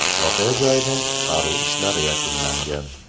Voqea joyida qutqaruv ishlari yakunlangan.